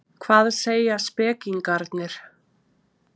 Hvað segja spekingarnir?